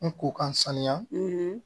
N ko k'an sanuya